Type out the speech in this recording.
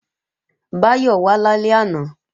Báyọ̀ wà lálẹ́ àná